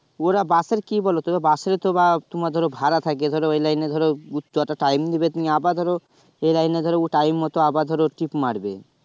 ওরা busএ কি বলো তো bus এর তো বা তোমার ধরো ভাড়া থাকে ধরো ঐ লাইনে ধরো ঘুরতে time দিবে তুমি আবার ধরো এই লাইনে ধরো time আবার ধরো টিপ মারবে